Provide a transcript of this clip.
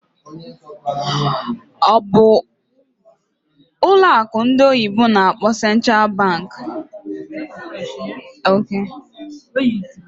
Ọ bụ ụlọ akụ ndị oyibo n'akpọ "Central Bank" na na-achịkwa ma na-achịkwa usoro a na Naịjirịa?